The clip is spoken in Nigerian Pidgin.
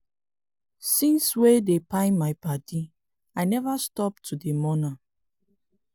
since wey dem kpai my paddy i neva stop to dey mourn am